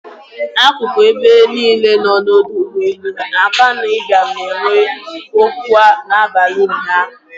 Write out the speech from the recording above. Akụkụ ebe niile nọ n'ọdọ ụgbọelu Akanu Ibiam na-enwu ọkụ n'abalị ụnyaahụ.